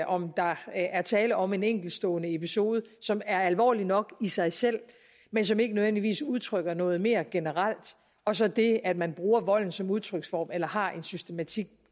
om der er tale om en enkeltstående episode som er alvorlig nok i sig selv men som ikke nødvendigvis udtrykker noget mere generelt og så det at man bruger volden som udtryksform eller har en systematik